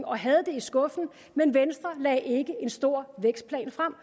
og havde den i skuffen men venstre lagde ikke en stor vækstplan frem